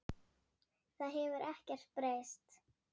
Það hefur ekkert breyst.